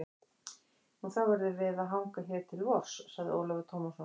Nú, þá verðum við að hanga hér til vors, sagði Ólafur Tómasson.